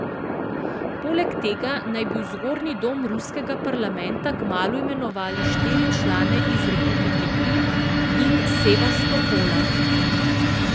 Poleg tega naj bi v zgornji dom ruskega parlamenta kmalu imenovali štiri člane iz republike Krim in Sevastopola.